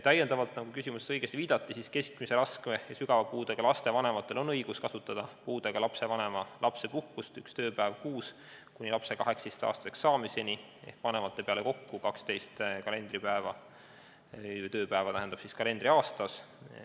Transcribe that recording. Küsimus on ka selles, nagu õigesti viidati, et keskmise, raske või sügava puudega laste vanematel on õigus saada puudega lapse vanema lapsepuhkust üks tööpäev kuus kuni lapse 18-aastaseks saamiseni – see teeb vanemate peale kokku 12 tööpäeva kalendriaastas.